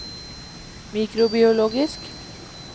mikrobiologisk